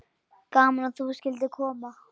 Gaman að þú skyldir koma.